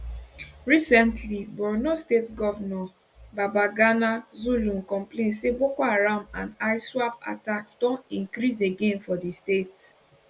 recently borno state govnor babagana zulum complain say boko haram and iswap attacks don increase again for di state